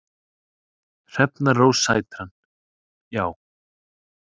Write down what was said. Hrefna Rósa Sætran: Já.